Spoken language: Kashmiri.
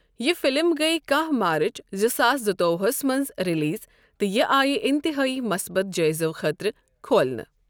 یہِ فلم گٔیۍ کَہہ مارچ زٕ ساس زٕتووُہ ہَس منٛز ریلیز تہٕ یہِ آیہِ انتہٲئی مثبت جٲئزو خٲطرٕ کھولنہٕ۔